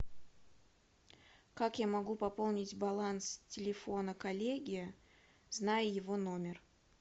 как я могу пополнить баланс телефона коллеги зная его номер